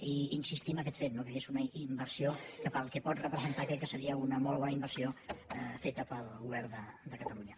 i insistir en aquest fet no que és una inversió que pel que pot representar crec que seria una molt bona inversió feta pel govern de catalunya